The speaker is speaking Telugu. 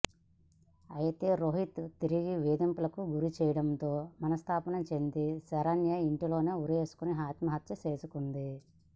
అయితే రోహిత్ తిరిగి వేధింపులకు గురి చేయడంతో మనస్తాపం చెందిన శరణ్య ఇంట్లో ఉరేసుకుని ఆత్మహత్య చేసుకుంది